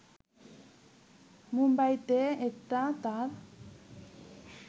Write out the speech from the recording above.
মুম্বাইতে এটা তাঁর